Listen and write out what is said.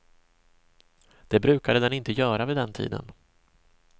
Det brukade den inte göra vid den tiden.